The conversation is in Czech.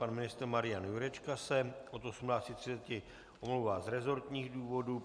Pan ministr Marian Jurečka se od 18.30 omlouvá z resortních důvodů.